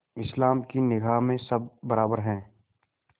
इस्लाम की निगाह में सब बराबर हैं